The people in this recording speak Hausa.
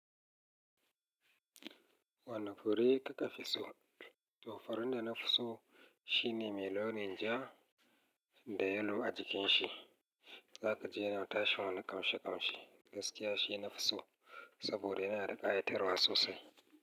Wane fure kika fi so? To furen da na fi so shine mai launin ja da yelo a jikin shi. Za ka je na tashan wani kamshi kamshi. Gaskiya shi na fi so saboda yana da ƙayatarwa sosai.